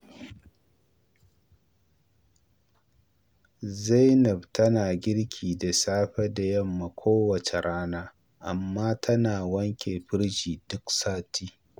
Zainab tana girki da safe da yamma kowace rana, amma tana wanke firji duk sati.